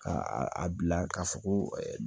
Ka a bila ka fɔ ko